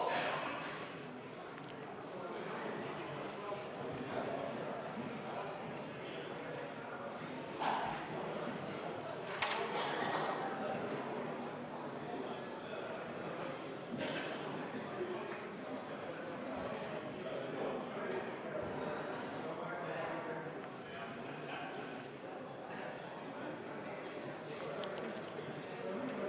V a h e a e g